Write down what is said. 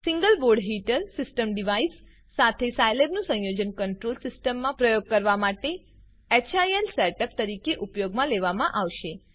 single board heater system device સાથે સાયલેબનું સંયોજન કન્ટ્રોલ સીસ્ટમના પ્રયોગો કરવા માટે હિલ સેટઅપ તરીકે ઉપયોગમાં લેવામાં આવશે